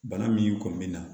Bana min kun me na